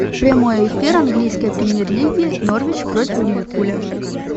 прямой эфир английской премьер лиги норвич против ливерпуля